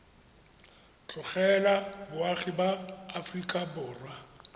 tlogela boagi ba aforika borwa